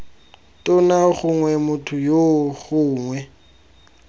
tona gongwe motho yoo gongwe